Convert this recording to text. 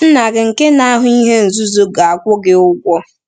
“Nna gị nke na-ahụ ihe nzuzo ga-akwụ gị ụgwọ.”